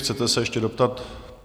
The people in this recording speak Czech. Chcete se ještě doptat?